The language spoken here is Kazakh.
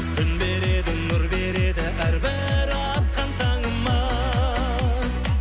күн береді нұр береді әрбір атқан таңымыз